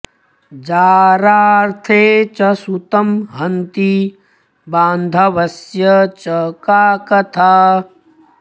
जारार्थे च सुतं हन्ति बान्धवस्य च का कथा